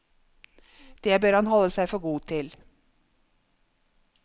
Det bør han holde seg for god til.